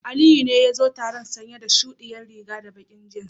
Aliyu ne yazo taron sanye chudi rigar da baki jeans.